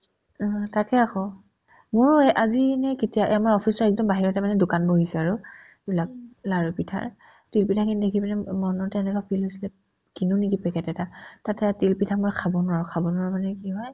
উম্, তাকে আকৌ মই আজি নে কেতিয়াই এই আমাৰ office ৰ একদম বাহিৰতে মানে দোকান বহিছে আৰু লা ~ লাৰু-পিঠাৰ তিল পিঠাখিনি দেখি পিনে ওব মনতে এনেকুৱা feel হৈছিলে কিনো নেকি পেকেট এটা তাতে তিলপিঠা মই খাব নোৱাৰো খাব নোৱাৰো মানে কি হয়